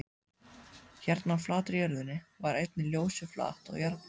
Hérna á flatri jörðinni var einnig ljósið flatt og jarðbundið.